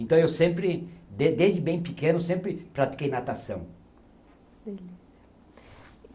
Então, eu sempre, desde bem pequeno, sempre pratiquei natação.